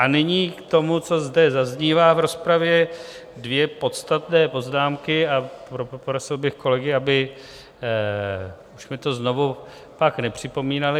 A nyní k tomu, co zde zaznívá v rozpravě, dvě podstatné poznámky, a poprosil bych kolegy, aby už mi to znovu pak nepřipomínali.